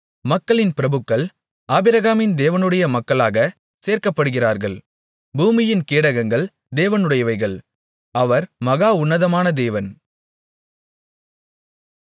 மக்களின் பிரபுக்கள் ஆபிரகாமின் தேவனுடைய மக்களாகச் சேர்க்கப்படுகிறார்கள் பூமியின் கேடகங்கள் தேவனுடையவைகள் அவர் மகா உன்னதமான தேவன்